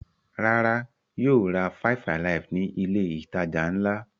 Rárá, yóò ra five-alive ní ilé-ìtajà ńlá.